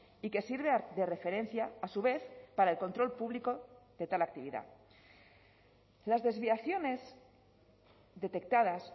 y que sirve de referencia a su vez para el control público de tal actividad las desviaciones detectadas